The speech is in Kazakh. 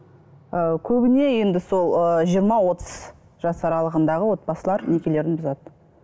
ы көбіне енді сол ыыы жиырма отыз жас аралығындағы отбасылар некелерін бұзады